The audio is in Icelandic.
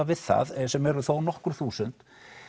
við það sem eru þónokkur þúsund